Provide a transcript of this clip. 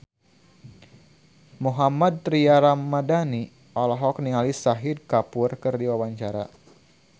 Mohammad Tria Ramadhani olohok ningali Shahid Kapoor keur diwawancara